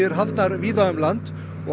haldnar eru víða um land á